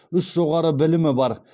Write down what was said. үш жоғары білімі бар